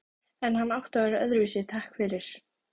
En hann átti að vera öðruvísi, takk fyrir.